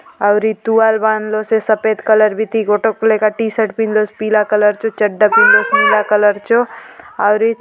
आउरी तुआल बांध लो से सफ़ेद कलर बीती गोटोक लेका टी - शर्ट पिंधलोंसे पीला कलर चो चड्डा पिंधलोंसे नीला कलर चो आवरी --